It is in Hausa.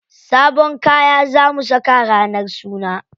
Sabon kaya za mu saka ranar suna.